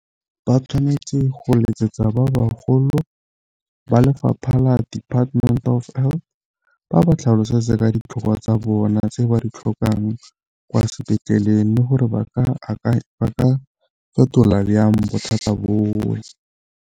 Ba tshwanetse go letsetsa ba bagolo ba lefapha la Department of Health ba ba tlhalosetse ka ditlhokwa tsa bona tse ba di tlhokang kwa sepetleleng le gore ba ka fetola byang bothata .